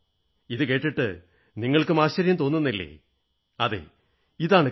ഇതുകേട്ട് നിങ്ങൾക്കും ആശ്ചര്യം തോന്നുന്നില്ലേ അതെ ഇതാണു കാര്യം